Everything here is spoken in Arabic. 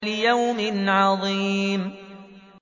لِيَوْمٍ عَظِيمٍ